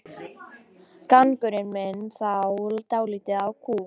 Gangurinn minnir þá dálítið á kú.